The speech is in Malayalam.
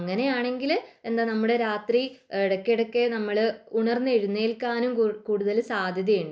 അങ്ങനെയാണെങ്കിൽ നമ്മള് രാത്രി ഇടക്കിടക്കെ നമ്മള് ഉണർന്നെഴുന്നേൽക്കാനും കൂടുതൽ സാധ്യത ഉണ്ട്